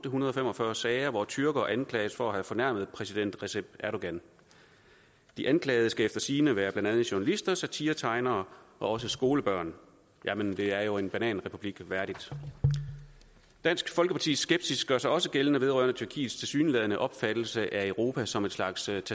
fem og fyrre sager hvor tyrkere anklages for at have fornærmet præsident recep erdogan de anklagede skal efter sigende være blandt andet journalister satiretegnere og også skolebørn jamen det er jo en bananrepublik værdigt dansk folkepartis skepsis gør sig også gældende vedrørende tyrkiets tilsyneladende opfattelse af europa som et slags tag